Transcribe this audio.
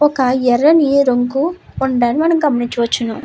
ఒక ఎర్రని రంగు ఉండడం మనం గమనించవచ్చును.